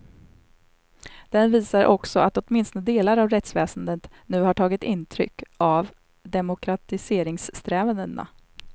Den visar också att åtminstone delar av rättsväsendet nu har tagit intryck av demokratiseringssträvandena.